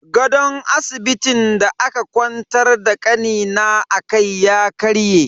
Gadon asibitin da aka kwantar da kanina akai ya karye.